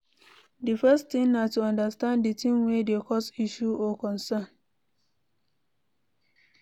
Di first thing na to understand di thing wey dey cause issue or concern